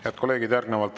Head kolleegid!